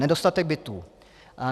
Nedostatek bytů.